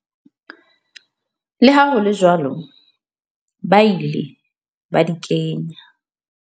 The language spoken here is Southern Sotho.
Le ha hole jwalo ba ile ba di kenya.